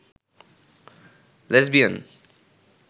lesbian